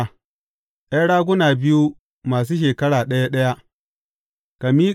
’Yan raguna biyu masu shekara ɗaya ɗaya.